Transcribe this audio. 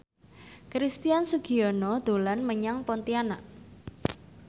Christian Sugiono dolan menyang Pontianak